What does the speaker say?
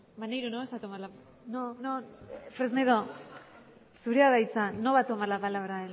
maneiro no vas a tomar la palabra no no fresnedo zurea da hitza no va a tomar la palabra